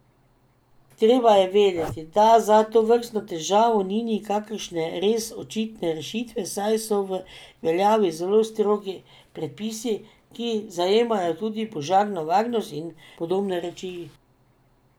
Treba je vedeti, da za tovrstno težavo ni nikakršne res očitne rešitve, saj so v veljavi zelo strogi predpisi, ki zajemajo tudi požarno varnost in podobne reči.